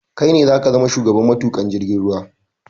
Kai ne zaka zama shugaban matuƙa jirgin ruwa